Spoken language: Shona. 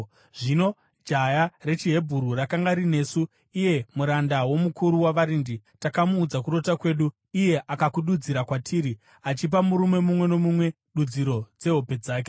Zvino jaya rechiHebheru rakanga rinesu, iye muranda womukuru wavarindi, takamuudza kurota kwedu, iye akakududzira kwatiri, achipa murume mumwe nomumwe dudziro yehope dzake.